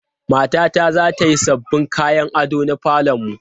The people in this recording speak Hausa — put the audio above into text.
Matata za ta yi sabbin kayan ado na falon mu.